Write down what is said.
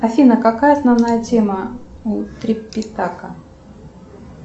афина какая основная тема у трипитака